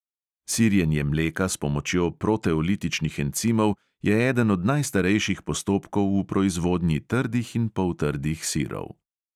Sirjenje mleka s pomočjo proteolitičnih encimov je eden od najstarejših postopkov v proizvodnji trdih in poltrdih sirov.